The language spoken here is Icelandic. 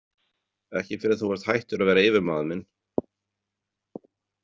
Ekki fyrr en þú varst hættur að vera yfirmaður minn.